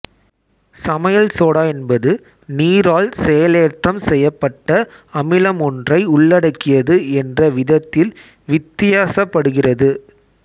சமையல் சோடா என்பது நீரால் செயலேற்றம் செய்யப்பட்ட அமிலமொன்றை உள்ளடக்கியது என்ற விதத்தில் வித்தியாசப்படுகிறது